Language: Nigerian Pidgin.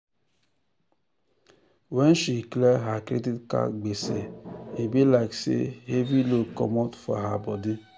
when she clear her credit card gbese e be like say heavy load comot for her body.